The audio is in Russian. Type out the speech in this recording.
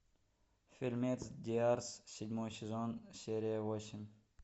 фильмец диарс седьмой сезон серия восемь